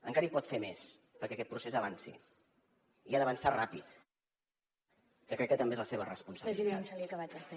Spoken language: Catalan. encara hi pot fer més perquè aquest procés avanci i ha de avançar ràpid que crec que també és la seva responsabilitat